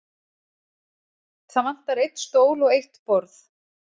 Það vantar einn stól og eitt borð.